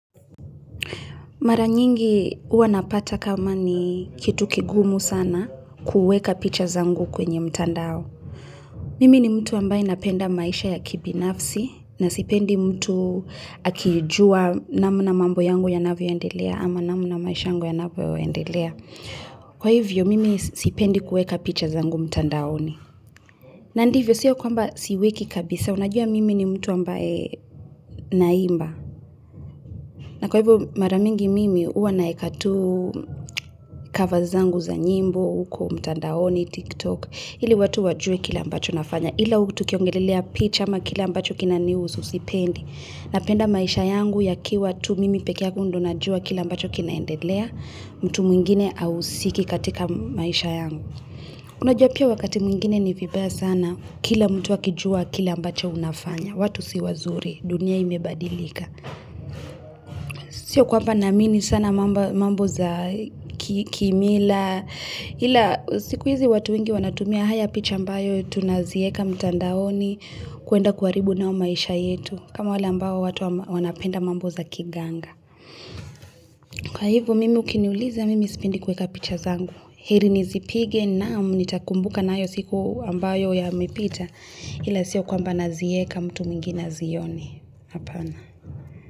Mara nyingi uwa napata kama ni kitu kigumu sana kuweka picha zangu kwenye mtandao. Mimi ni mtu ambaye napenda maisha ya kibinafsi na sipendi mtu akijua namna mambo yangu yanavyo endelea ama namna maisha yangu yanavyo endelea. Kwa hivyo, mimi sipendi kuweka picha zangu mtandaoni na ndivyo, siyo kwamba siweki kabisa, unajua mimi ni mtu ambaye naimba. Na kwa hivyo mara mingi mimi, uwa naeka tu cover zangu za nyimbo, uko mtandaoni, tiktok, ili watu wajue kile ambacho nafanya. Ila tukiongelelea picha ama kile ambacho kinaniusu sipendi. Napenda maisha yangu yakiwa tu mimi pekee yangu ndio najua kile ambacho kinaendelea, mtu mwingine hausiki katika maisha yangu Unajua pia wakati mwingine ni vibaya sana, kila mtu akijua kile ambacho unafanya watu si wazuri, dunia imebadilika Sio kwamba naamini sana mambo za kimila, ila siku hizi watu wengi wanatumia haya picha ambayo tunazieka mtandaoni kuenda kuharibu nao maisha yetu kama wale ambao watu wanapenda mambo za kiganga. Kwa hivo mimi ukiniuliza mimi sipendi kuweka picha zangu. Heri nizipige na nitakumbuka nayo siku ambayo yamepita ila sio kwamba nazieka mtu mwingie azione, hapana.